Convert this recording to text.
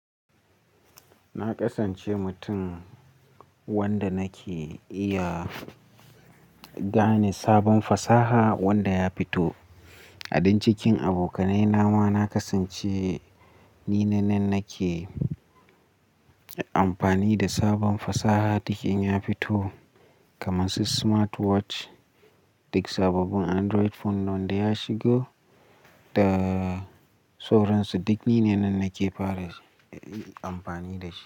Na kasance mutum wanda nake iya gane sabon fasaha wanda ya fito. A din cikin abokanai na ma na kasance ni ne nan nake amfani da sabon fasaha duk in ya fito kamar su smartwatch, duk sababbin Android phone wanda ya shigo da sauransu. Duk ni ne nan nake fara amfani da shi.